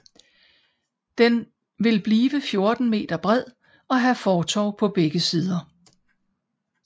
Den vil blive 14 meter bred og have fortov på begge sider